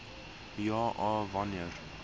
ja a wanneer